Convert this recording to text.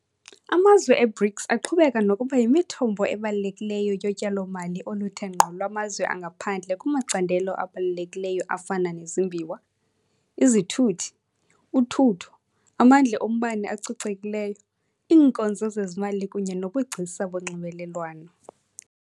Amazwe e-BRICS aqhubeka nokuba yimithombo ebalulekileyo yotyalo-mali oluthe ngqo lwamazwe angaphandle kumacandelo abalulekileyo afana nezimbiwa, izithuthi, uthutho, amandla ombane acocekileyo, iinkonzo zezimali kunye nobugcisa bonxibelelwano.